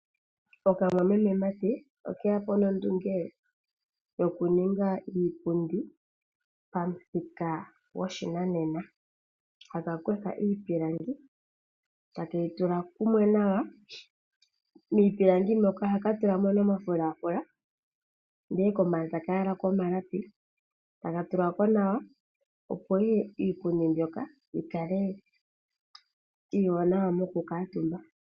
Okamwameme mati okeyapo nondunge yokuninga iipundi, pamuthika goshinanena. Ohaka kutha iipilangi etakeyi tula kumwe nawa. Miipilangi moka ohaka tulamo omafulafula nenge taka yalako omalapi, etaka ga tulwako. Opo Iipundi mbyoka yikale yili nawa okukuutumwa.